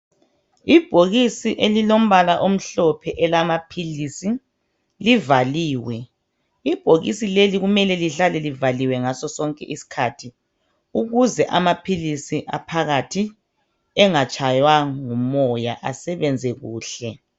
Ibhokisi elilombala omhlophe elamaphilisi livaliwe. Ibhokisi leli kumele lihlale livaliwe ngasosonke isikhathi ukuze amaphilisi aphakathi engatshaywa ngumoya asebenze kuhle.